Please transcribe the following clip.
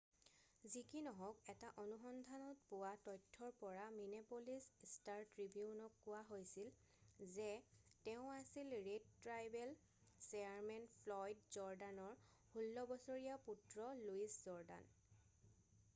যি কি নহওক এটা অনুসন্ধানত পোৱা তথ্যৰ পৰা মিনেপ'লিচ ষ্টাৰ-ট্ৰিবিউনক কোৱা হৈছিল যে তেওঁ আছিল ৰেড ট্ৰাইবেল চেয়াৰমেন ফ্লয়ড জৰ্ডানৰ 16 বছৰীয়া পুত্ৰ লুইচ জৰ্ডান